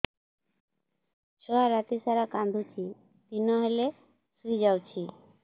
ଛୁଆ ରାତି ସାରା କାନ୍ଦୁଚି ଦିନ ହେଲେ ଶୁଇଯାଉଛି